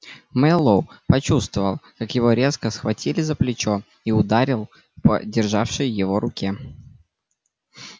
мэллоу почувствовал как его резко схватили за плечо и ударил по державшей его руке